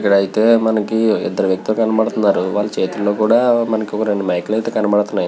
ఇక్కడ అయితే మనకి ఇద్దరు వ్యక్తులు కనబడుతున్నారు వాళ్ళ చేతిలో కూడా మనకి రెండు మైకు లు అయితే కనబడుతున్నాయి.